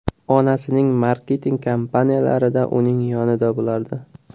Onasining marketing kampaniyalarida uning yonida bo‘lardi.